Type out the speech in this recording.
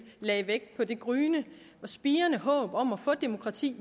lagde vægt på det gryende og spirende håb om at få demokrati